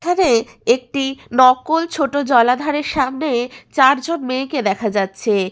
এখানে একটি নকল ছোট জলাধারের সামনে চারজন মেয়েকে দেখা যাচ্ছে।